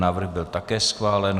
Návrh byl také schválen.